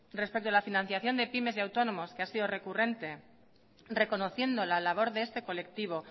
respeto a la financiación de pymes y autónomos que ha sido recurrente reconociendo la labor de este colectivo